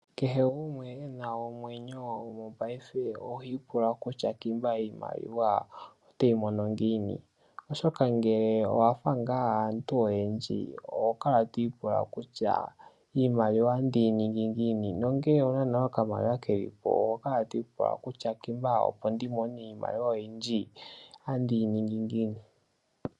Kehe gumwe e na omwenyo mopaife oha ipula kutya ngiika iimaliwa oteyi mono ngiini oshoka ngele owafa ngaa aantu oyendji oho kala twiipula kutya iimaliwa otandi yi ningi ngiini, nongele owuna nale okamaliwa keli po ohokala twiipula kutya ngiika opo ndimone iimaliwa oyindji otandi yi ningi ngiini.